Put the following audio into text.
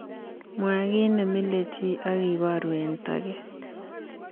Mwaa kiiy nemile chii agibaru eng toget